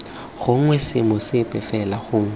gongwe seemo sepe fela gongwe